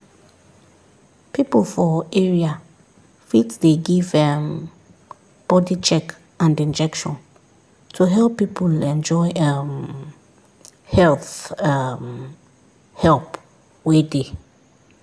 people for area fit dey give um body check and injection to help people enjoy um health um help wey dey